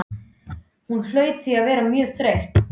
Hún hlaut því að vera mjög þreytt.